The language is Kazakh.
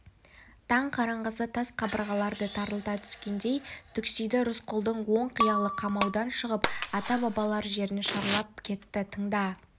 таң қараңғысы тас қабырғаларды тарылта түскендей түксиді рысқұлдың ой-қиялы қамаудан шығып ата-бабалар жерін шарлап кетті тыңда